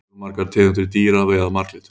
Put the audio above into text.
fjölmargar tegundir dýra veiða marglyttur